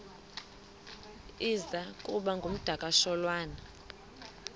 iza kuba ngumdakasholwana